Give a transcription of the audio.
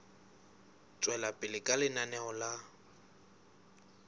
tswela pele ka lenaneo la